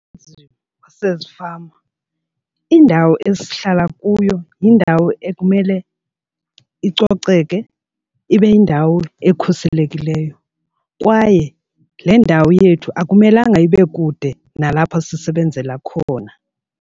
sezifama, iindawo esihlala kuyo yindawo ekumele icoceke ibe yindawo ekhuselekileyo kwaye le ndawo yethu akumelanga ibe kude nalapho sisebenzela khona.